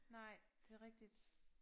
Nej det rigtigt